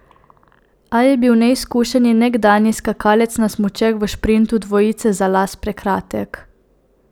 A je bil neizkušeni nekdanji skakalec na smučeh v šprintu dvojice za las prekratek.